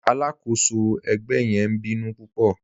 Aláàkọ́sọ̀ ẹgbẹ̀ yẹn ǹ bínú púpọ̀.